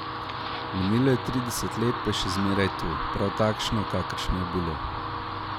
Minilo je trideset let, pa je še zmeraj tu, prav takšno, kakršno je bilo.